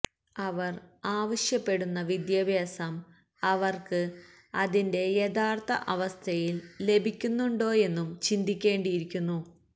അവര് ആവശ്യപ്പെടുന്ന വിദ്യാഭ്യാസം അവര്ക്ക് അതിന്റെ യഥാര്ഥ അവസ്ഥയില് ലഭിക്കുന്നുണ്ടോയെന്നും ചിന്തിക്കേണ്ടിയിരിക്കുന്നു